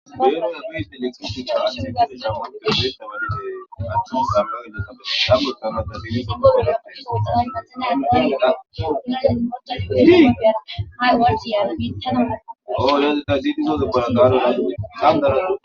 Gayanoza ghide letxiste caashe gase sa oo gegeaanatu sa mazeagagas sagutana gagirisa ga gela deosaa na gaega gogiaa iziiga ha geti yandiaa aolaze da zidizozo garagaro aesangarato.